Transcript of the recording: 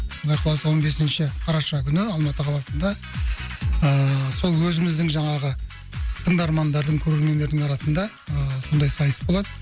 құдай қаласа он бесінші қараша күні алматы қаласында ыыы сол өзіміздің жаңағы тыңдармандардың көрермендердің арасында ыыы сондай сайыс болады